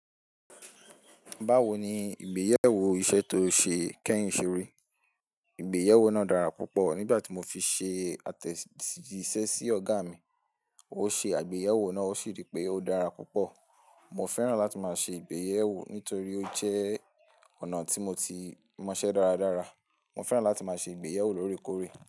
Báwo ni ìgbéyewó iṣẹ́ tó ṣe kẹ́yin ṣeré? Ìgbéyàwó náà dára púpọ̀ nígbà tí mo fi ṣe àtẹ̀jíṣẹ́ sí ọ̀gá mi. Ó ṣe àgbéyẹ̀wò náà, ó sì rí pé ó dára púpọ̀. Mo fẹ́ràn láti máa ṣe ìgbéyewó nítorí ó jẹ́ ọ̀nà tí mo ti mọṣẹ́ dáradára. Mo fẹ́ràn láti máa ṣe ìgbéyewó lórekóre.